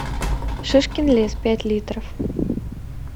шишкин лес пять литров